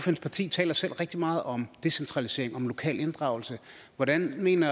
parti taler selv rigtig meget om decentralisering og om lokal inddragelse hvordan mener